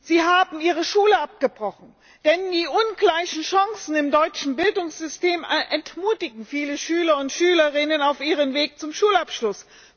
Sie haben die Schule abgebrochen, denn die ungleichen Chancen im deutschen Bildungssystem entmutigen viele Schüler und Schülerinnen auf ihrem Weg zum Schulabschluss.